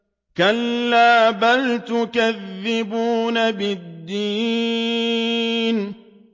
كَلَّا بَلْ تُكَذِّبُونَ بِالدِّينِ